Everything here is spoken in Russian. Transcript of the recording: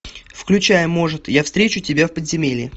включай может я встречу тебя в подземелье